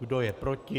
Kdo je proti?